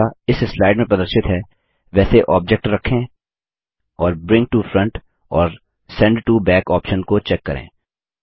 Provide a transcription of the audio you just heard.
अब जैसा इस स्लाइड में प्रदर्शित है वैसे ऑब्जेक्ट रखें और ब्रिंग टो फ्रंट और सेंट टो बैक ऑप्शन को चेक करें